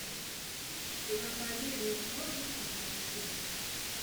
проповедник можешь мне найти